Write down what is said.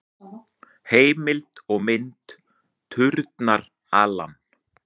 Heimild og mynd: Turnar, Alan.